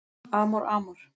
Amor Amor